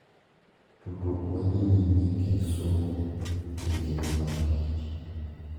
Tudruok ma dhi nyime e kind somo gi ngima mar tich.